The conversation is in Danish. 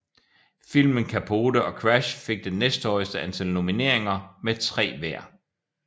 Filmen Capote og Crash fik den næsthøjeste antal nomineriner med 3 hver